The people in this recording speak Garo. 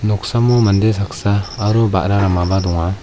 noksamo mande saksa aro ba·ra ramaba donga.